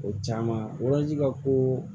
O caman ka ko